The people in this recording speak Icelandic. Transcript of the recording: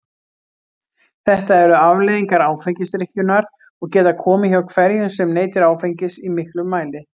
Þetta eru afleiðingar áfengisdrykkjunnar og geta komið hjá hverjum sem neytir áfengis í miklum mæli.